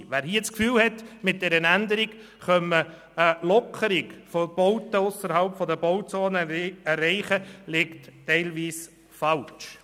Wer das Gefühl hat, mit dieser Änderung könne man eine Lockerung von Bauten ausserhalb der Bauzone erreichen, liegt teilweise falsch.